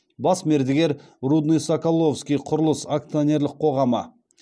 бас мердігер рудныйсоколовскийқұрылыс акционерлік қоғамы